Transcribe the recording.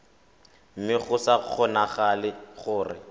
mme go sa kgonagale gore